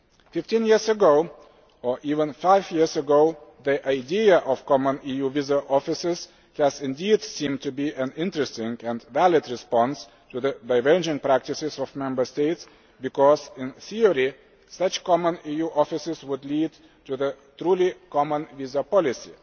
Fifteen years ago, or even five years ago, the idea of common EU visa offices did indeed seem to be an interesting and valid response to the divergent practices of Member States because, in theory, such common EU offices would lead to a truly common visa policy.